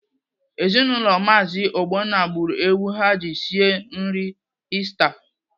Ezinaụlọ Maazi Ogbonna gburu ewu ha ji sie nri Ista.